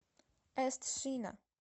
эст шина